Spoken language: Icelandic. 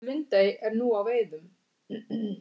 Lundey er nú á veiðum